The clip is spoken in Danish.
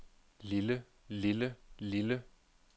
lille lille lille